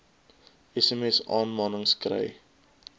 sms aanmanings kry